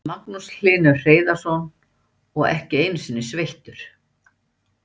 Magnús Hlynur Hreiðarsson: Og ekki einu sinni sveittur?